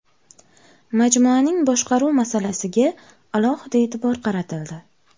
Majmuaning boshqaruv masalasiga alohida e’tibor qaratildi.